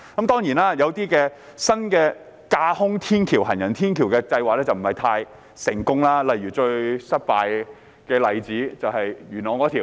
當然，一些新的架空行人天橋計劃卻不太成功，例如最失敗的例子便是元朗那項計劃。